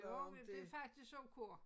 Jo men det faktisk ok